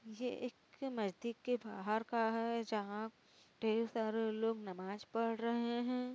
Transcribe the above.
ये एक मस्जिद के बाहर का है जहाँ ढेर सारे लोग नमाज़ पढ़ रहे है ।